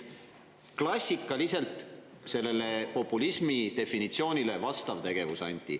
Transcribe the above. Klassikaliselt sellele populismi definitsioonile vastav tegevus, Anti.